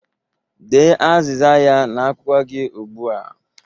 Dee azịza ya n'akwụkwọ gị ugbu a!